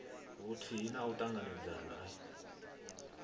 vhuthihi na u ṱanganedzana i